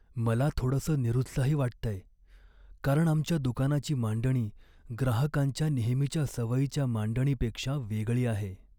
मला थोडसं निरुत्साही वाटतंय, कारण आमच्या दुकानाची मांडणी ग्राहकांच्या नेहमीच्या सवयीच्या मांडणीपेक्षा वेगळी आहे.